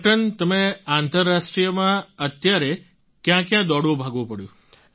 captain તમને આંતરરાષ્ટ્રીયમાં અત્યારે ક્યાં ક્યાં દોડવું ભાગવું પડ્યું